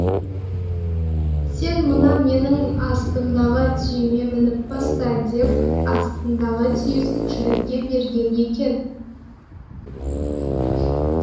сен мына менің астымдағы түйеме мініп баста деп астындағы түйесін жігітке берген екен